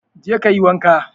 Je kayi wanka.